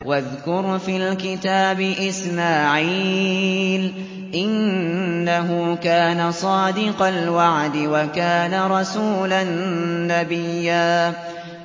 وَاذْكُرْ فِي الْكِتَابِ إِسْمَاعِيلَ ۚ إِنَّهُ كَانَ صَادِقَ الْوَعْدِ وَكَانَ رَسُولًا نَّبِيًّا